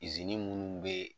Izini minnu bɛ yen.